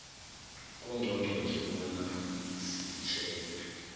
kungqongqotjhe bona sitjhejwe